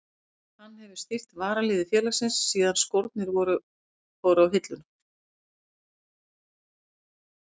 Hann hefur stýrt varaliði félagsins síðan skórnir fóru á hilluna.